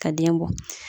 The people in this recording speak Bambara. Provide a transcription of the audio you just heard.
Ka den bɔ